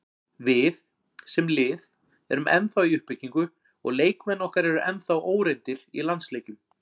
Við, sem lið, erum ennþá í uppbyggingu og leikmenn okkar eru ennþá óreyndir í landsleikjum.